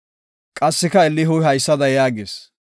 Qassika Elihuy haysada yaagis;